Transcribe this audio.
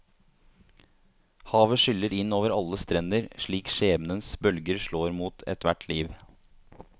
Havet skyller inn over alle strender slik skjebnens bølger slår mot ethvert liv.